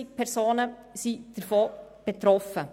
120 000 Personen sind davon betroffen.